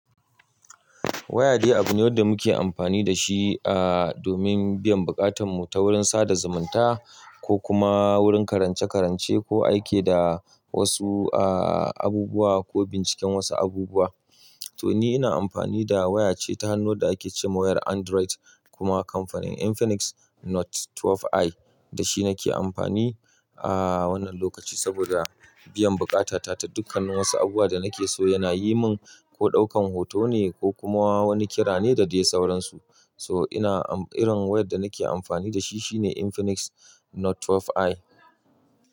Waya dai abu ne wada muke amfani da shi, ah, domin biyan bukatarmu ta wurin sada zumunta ko kuma wurin karance-karance ko aiki da wasu, ah, abubuwa ko binciken wasu abubuwa. To ni ina amfani da waya ce ta hannu wada ake ce ma wayar Android kuma kamfanin Infinix Note 12i da shi nake amfani, ah, wannan lokaci saboda biyan bukata ta ta dukkan wasu abubuwa da nake so yana yi mun ko ɗaukan hoto ne ko kuma wani kira ne da dai sauransu. So ina, irin wayar da nake amfani da shi shine Infinix Note 12i.